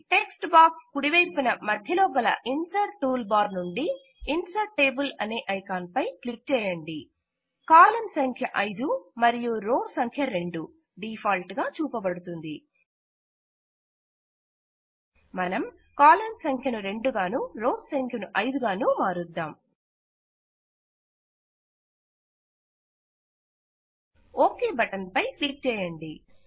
text box కుడివైపునgtgtమధ్యలో గల insert tool bar నుండి ఇన్సర్ట్ టేబుల్ అనే ఐకాన్ పై క్లిక్ చేయండి కాలం సంఖ్య 5 మరియు రో సంఖ్య 2 డీఫాల్ట్ గా చూపబడుతుంది మనం కాలమ్స్ సంఖ్యను 2గానూ రోస్ సంఖ్యను 5 గానూ మారుద్దాం ఓకే బటన్ పై క్లిక్ చేయండి